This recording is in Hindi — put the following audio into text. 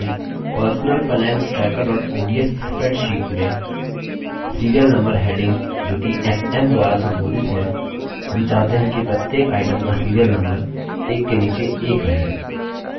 अब हमारी personal finance tracker ods spreadsheet में serial number heading जोकि sn द्वारा संबोधित है हम चाहते हैं कि प्रत्येक item का serial number एक के नीचे एक रहे